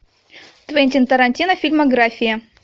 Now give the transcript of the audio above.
квентин тарантино фильмография